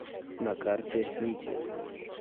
на карте нити